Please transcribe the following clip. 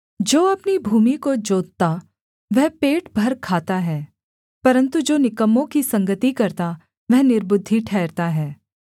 जो अपनी भूमि को जोतता वह पेट भर खाता है परन्तु जो निकम्मों की संगति करता वह निर्बुद्धि ठहरता है